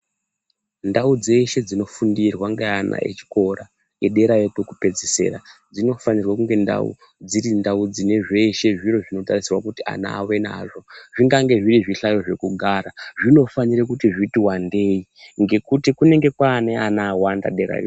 Ndaudzeshe dzinofundirwa ngeana echikora ederayo kwokupedzisira dzinofanirwa kunge ndau dziri ndaau dzine zvese dzino tarisirwa kuti ana vave nazvo zvingange zviri zvihlayo zvekugara zvinofanira kuti zviti wandeyi ngekuti kunenge kwava nevana vawanda derako.